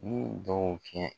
N y'u dɔw tiɲɛ